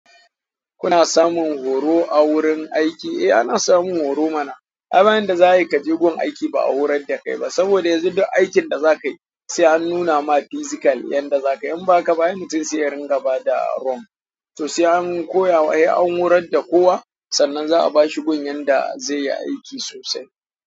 Kuna samun horo a wurin aiki? Eh ana samun horo mana. Ai ba yanda za'a yi ka je gun aiki ba a horar da kai ba saboda yanzu duk aikin da za ka yi sai an nuna ma physical yanda za ka yi. In ba haka ba ai mutum sai ya ringa bada wrong to sai an koya wa, ai an horar da kowa sannan za a ba shi gun yanda zai yi aiki sosai.